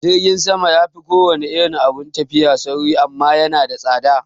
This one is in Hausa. Jirgin sama yafi kowane irin abun tafiya sauri amma yana da tsada